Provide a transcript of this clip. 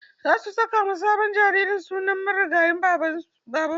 Za su saka ma sabon jariri sunan marigayi Babanmu.